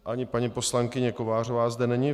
Ani paní poslankyně Kovářová zde není.